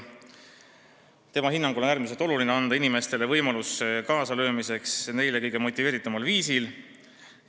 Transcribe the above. Tema hinnangul on äärmiselt oluline anda inimestele võimalus kaasa lüüa neid kõige rohkem motiveerival viisil.